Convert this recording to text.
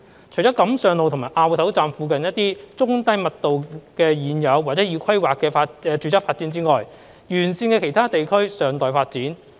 除了錦上路和凹頭站附近的一些中低密度的現有或已規劃的住宅發展外，沿線的其他地區尚待發展。